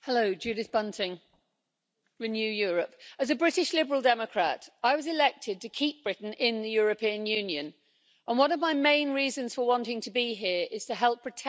Mr President, as a British Liberal Democrat, I was elected to keep Britain in the European Union, and one of my main reasons for wanting to be here is to help protect our shared environment.